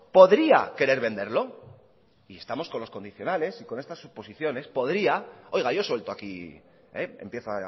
podría querer venderlo y estamos con los condicionales y con estas suposiciones podría oiga yo suelto aquí empiezo